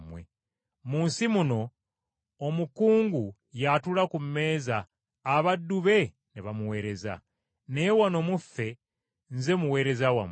Mu nsi muno omukungu y’atula ku mmeeza abaddu be ne bamuweereza. Naye wano mu ffe nze muweereza wammwe.